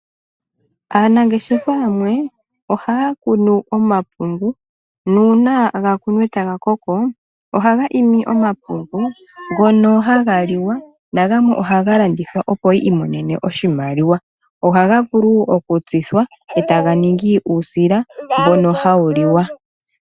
Aanangeshefa yamwe ohaya kunu omapungu nuuna gakunwa etaga koko ohaga imi omapungu ngono haga liwa nagamwe ohaga landithwa opo yi imonene oshimaliwa. Ohaga vulu okutsithwa etaga ningi uusila mbono hawu liwa.